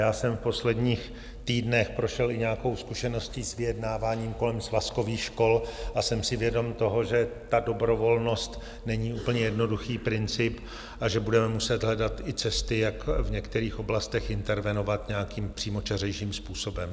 Já jsem v posledních týdnech prošel i nějakou zkušeností s vyjednáváním kolem svazkových škol a jsem si vědom toho, že ta dobrovolnost není úplně jednoduchý princip a že budeme muset hledat i cesty, jak v některých oblastech intervenovat nějakým přímočařejším způsobem.